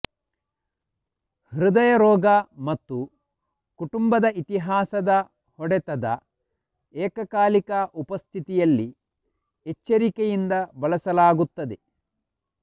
ಹೃದಯ ರೋಗ ಮತ್ತು ಕುಟುಂಬದ ಇತಿಹಾಸದ ಹೊಡೆತದ ಏಕಕಾಲಿಕ ಉಪಸ್ಥಿತಿಯಲ್ಲಿ ಎಚ್ಚರಿಕೆಯಿಂದ ಬಳಸಲಾಗುತ್ತದೆ